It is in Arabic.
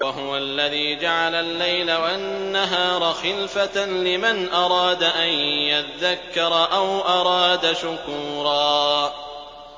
وَهُوَ الَّذِي جَعَلَ اللَّيْلَ وَالنَّهَارَ خِلْفَةً لِّمَنْ أَرَادَ أَن يَذَّكَّرَ أَوْ أَرَادَ شُكُورًا